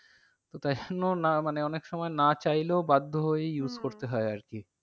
তো তাই জন্য না মানে অনেক সময় না চাইলেও বাধ্য হয়েই use করতে হয় আর কি।